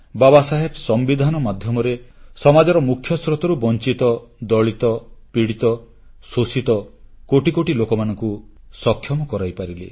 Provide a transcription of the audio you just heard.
ବାବାସାହେବ ସମ୍ବିଧାନ ମାଧ୍ୟମରେ ସମାଜର ମୁଖ୍ୟ ସ୍ରୋତରୁ ବଂଚିତ ଦଳିତ ପୀଡ଼ିତ ଶୋଷିତ କୋଟି କୋଟି ଲୋକମାନଙ୍କୁ ସକ୍ଷମ କରାଇପାରିଲେ